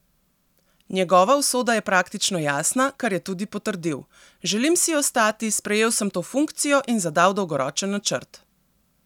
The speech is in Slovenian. Njegova usoda je praktično jasna, kar je tudi potrdil: "Želim si ostati, sprejel sem to funkcijo in zadal dolgoročen načrt.